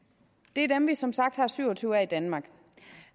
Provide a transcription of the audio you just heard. det er dem vi som sagt har syv og tyve af i danmark